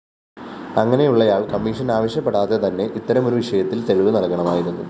അങ്ങനെയുള്ളയാള്‍ commission ആവശ്യപ്പെടാതെതന്നെ ഇത്തരമൊരു വിഷയത്തില്‍ തെളിവ് നല്‍കണമായിരുന്നു